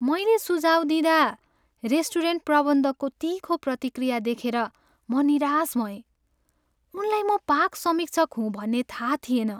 मैले सुझाउ दिँदा रेस्टुरेन्ट प्रबन्धकको तिखो प्रतिक्रिया देखेर म निराश भएँ। उनलाई म पाक समीक्षक हुँ भन्ने थाहा थिएन।